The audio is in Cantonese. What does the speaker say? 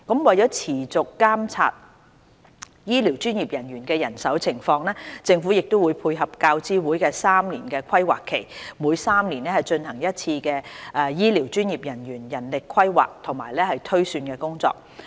為持續監察醫療專業人員的人手情況，政府會配合教資會的3年規劃期，每3年進行一次醫療專業人員人力規劃和推算工作。